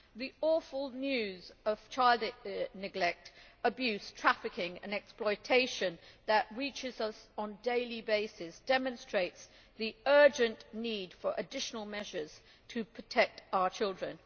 The awful news of child neglect, abuse, trafficking and exploitation that reaches us on a daily basis demonstrates the urgent need for additional measures to protect our children.